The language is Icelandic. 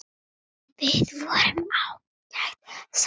Við vorum ágæt saman.